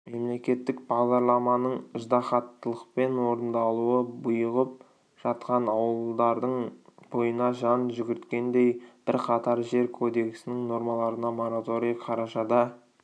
мемлекеттік бағдарламаның ыждаһаттылықпен орындалуы бұйығып жатқан ауылдардың бойына қан жүгірткендей бірқатар жер кодексінің нормаларына мораторий қарашада